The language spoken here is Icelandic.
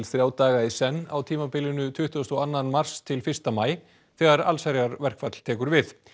þrjá daga í senn á tímabilinu tuttugasta og annan mars til fyrsta maí þegar allsherjarverkfall tekur við